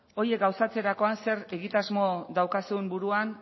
horiek gauzatzerakoan zer egitasmo daukazun buruan